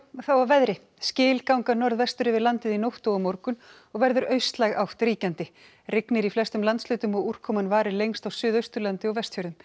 þá að veðri skil ganga norðvestur yfir landið í nótt og á morgun og verður austlæg átt ríkjandi rignir í flestum landshlutum og úrkoman varir lengst á Suðausturlandi og Vestfjörðum